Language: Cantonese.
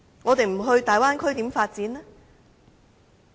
我們不到大灣區又如何發展？